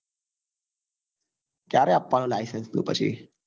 ક્યારે આપવા નો licence તું પછી